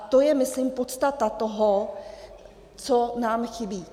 A to je myslím podstata toho, co nám chybí.